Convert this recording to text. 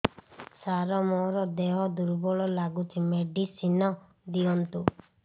ସାର ମୋର ଦେହ ଦୁର୍ବଳ ଲାଗୁଚି ମେଡିସିନ ଦିଅନ୍ତୁ